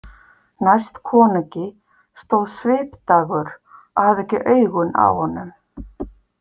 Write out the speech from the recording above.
Næst konungi stóð Svipdagur og hafði ekki augun af honum.